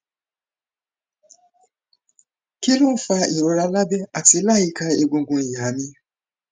kí ló ń fa ìrora lábẹ àti láyìíká egungun iha mi